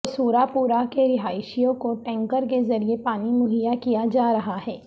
قصور پورہ کے رہائشیوں کو ٹینکر کے ذریعے پانی مہیا کیا جا رہا ہے